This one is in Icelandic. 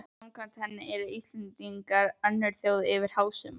Samkvæmt henni eru Íslendingar önnur þjóð yfir hásumar